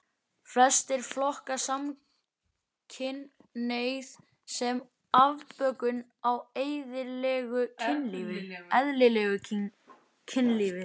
Flestir flokka samkynhneigð sem afbökun á eðlilegu kynlífi.